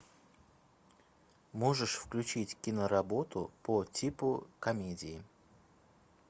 можешь включить киноработу по типу комедии